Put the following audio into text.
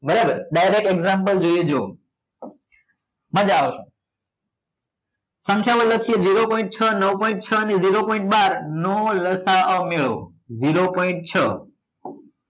બરાબર direct example જોઈએ જો મજા આવશે સંખ્યા માં લખીએ zero point છ નવ point છ અને point બાર નો લસા અ મેળવો zero point છ